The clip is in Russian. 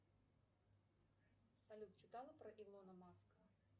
салют читала про илона маска